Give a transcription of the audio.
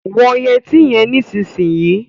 Wọ yẹtí yẹn nísìnyìí.